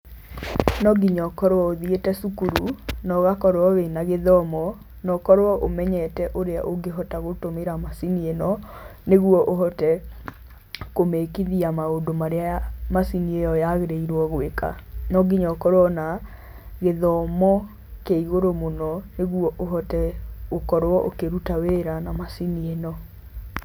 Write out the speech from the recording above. No nginya ũkorwo ũthiĩte cukuru na ũgakorwo wĩna gĩthomo no ũkorwo ũmenyete ũrĩa ũngĩhota gũtũmĩra macini ĩno nĩguo ũhote kũmĩkithia maũndũ marĩa macini ĩyo yagĩrĩirwo gwĩka, no nginya ũkorwo na gĩthomo kĩa igũrũ mũno nĩguo ũhote gũkorwo ũkĩruta wĩra na macini ĩno.